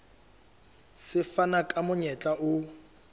se fana ka monyetla o